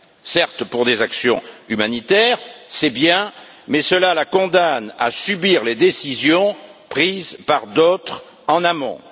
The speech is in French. Certes, pour des actions humanitaires, c'est bien, mais cela la condamne à subir les décisions prises par d'autres en amont.